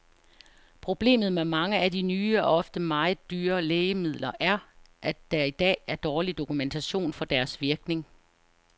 Problemet med mange af de nye og ofte meget dyre lægemidler, er at der i dag er dårlig dokumentation for deres virkning.